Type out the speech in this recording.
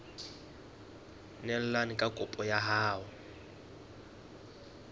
neelane ka kopo ya hao